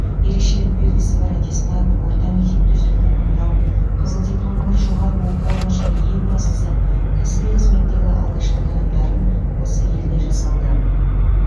ерекшелік белгісі бар аттестат орта мектепті үздік тәмәмдау қызыл дипломы бар жоғары оқу орны және ең бастысы кәсіби қызметтегі алғашқы қадамдарым осы елде жасалды